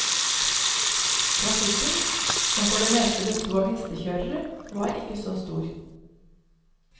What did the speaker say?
Trafikken, som for det meste bestod av hestekjørere, var ikke så stor.